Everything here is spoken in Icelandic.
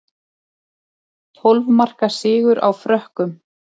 Tólf marka sigur á Frökkum